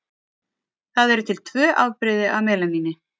Það eru til tvö afbrigði af melaníni.